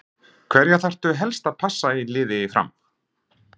Hverja þarftu helst að passa í liði Fram?